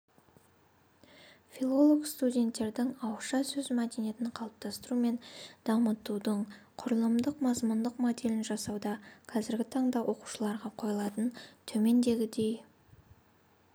филолог-студенттердің ауызша сөз мәдениетін қалыптастыру мен дамытудың құрылымдық-мазмұндық моделін жасауда қазіргі таңда оқытушыларға қойылатын төмендегідей